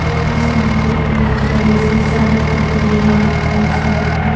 यहाँ सामने एक बड़ी सी सड़क दिख रही है और सड़क पे --